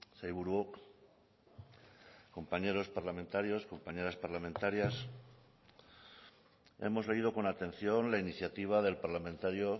sailburuok compañeros parlamentarios compañeras parlamentarias hemos leído con atención la iniciativa del parlamentario